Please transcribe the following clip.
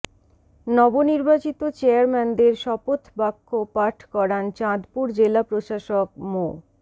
নবনির্বাচিত চেয়ারম্যানদের শপথ বাক্য পাঠ করান চাঁদপুর জেলা প্রশাসক মো